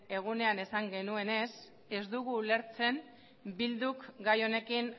egunean esan genuenez ez dugu ulertzen eh bilduk gai honekin